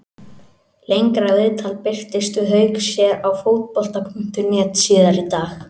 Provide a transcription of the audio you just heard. Lengra viðtal birtist við Hauk hér á Fótbolta.net síðar í dag.